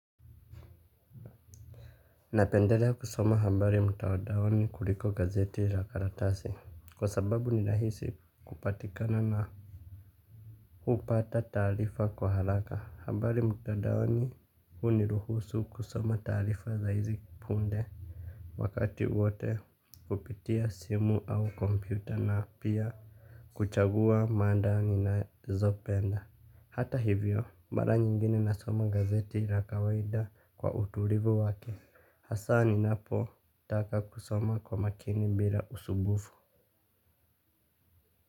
Napendelea kusoma habari mtandaoni kuliko gazeti la karatasi. Kwa sababu ni rahisi kupatikana na hupata taarifa kwa haraka habari mtandaoni huniruhusu kusoma taarifa za izi punde. Wakati wote kupitia simu au kompyuta na pia kuchagua mada ninazopenda. Hata hivyo mara nyingine nasoma gazeti la kawaida kwa utulivu wake hasa ninapo taka kusoma kwa makini bila usumbufu.